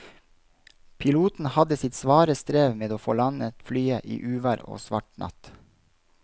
Piloten hadde sitt svare strev med å få landet flyet i uvær og svart natt.